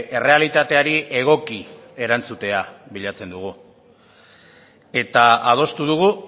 errealitateari egoki erantzutea bilatzen dugu eta adostu dugu